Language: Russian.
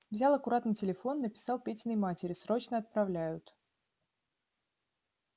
взял аккуратно телефон написал петиной матери срочно отправляют